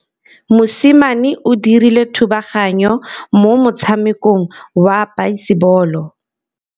Mosimane o dirile thubaganyô mo motshamekong wa basebôlô.